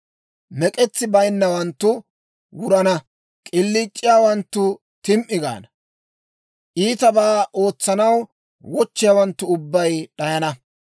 Mek'etsi bayinnawanttu wurana. K'iliic'iyaawanttu tim"i gaana. Iitabaa ootsanaw wochchiyaawanttu ubbay d'ayana.